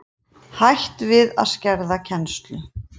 Hætt við að skerða kennslu